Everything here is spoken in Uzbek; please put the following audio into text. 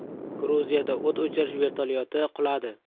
Gruziyada o‘t o‘chirish vertolyoti quladi.